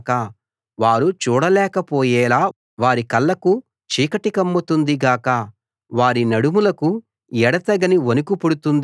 వారు చూడలేకపోయేలా వారి కళ్ళకు చీకటి కమ్ముతుంది గాక వారి నడుములకు ఎడతెగని వణకు పుడుతుంది గాక